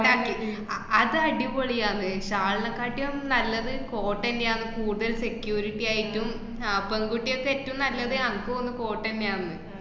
അഹ് അത് അടിപൊളി ആണ് shall ന കാട്ടിയും നല്ലത് coat ന്നെയാ കൂടുതൽ security യായിട്ടും ആഹ് പെൺകുട്ടികക്ക് ഏറ്റോം നല്ലത് അനക്ക് തോന്നുന്ന് coat ട്ടന്നെ ആണ്ന്ന്.